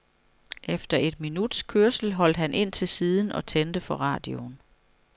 Efter et minuts kørsel holdt han ind til siden og tændte for radioen.